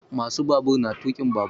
Ma su babur na tuƙin babur